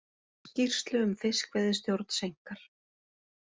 Skýrslu um fiskveiðistjórn seinkar